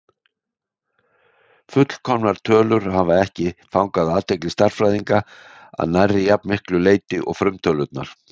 Fullkomnar tölur hafa ekki fangað athygli stærðfræðinga að nærri jafn miklu leyti og frumtölurnar.